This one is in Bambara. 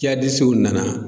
suw nana